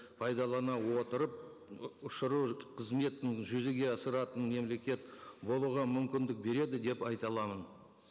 пайдалана отырып ұшыру қызметін жүзеге асыратын мемлекет болуға мүмкіндік береді деп айта аламын